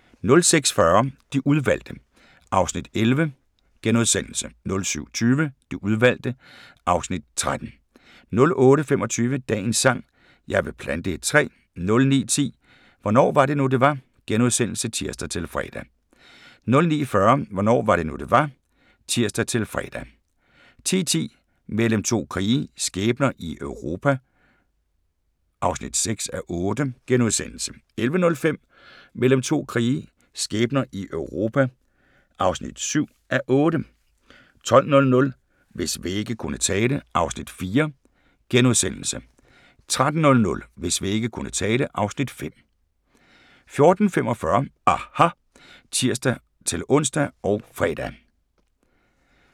06:40: De udvalgte (Afs. 11)* 07:20: De udvalgte (Afs. 13) 08:25: Dagens sang: Jeg vil plante et træ 09:10: Hvornår var det nu, det var? *(tir-fre) 09:40: Hvornår var det nu, det var? (tir-fre) 10:10: Mellem to krige – skæbner i Europa (6:8)* 11:05: Mellem to krige – skæbner i Europa (7:8) 12:00: Hvis vægge kunne tale (Afs. 4)* 13:00: Hvis vægge kunne tale (Afs. 5) 14:45: aHA! (tir-ons og fre)